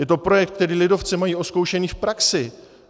Je to projekt, který lidovci mají odzkoušený v praxi.